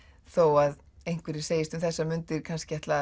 þó að einhverjir segist um þessar mundir kannski ætla